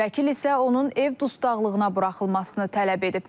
Vəkil isə onun ev dustaqlığına buraxılmasını tələb edib.